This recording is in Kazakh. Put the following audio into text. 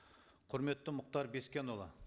құрметті мұхтар бескенұлы